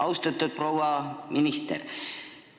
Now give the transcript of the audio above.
Austatud proua minister!